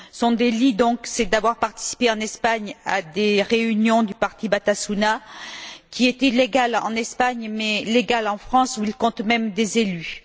Son délit consiste à avoir participé, en Espagne, à des réunions du parti Batasuna, qui est illégal en Espagne mais légal en France, où il compte même des élus.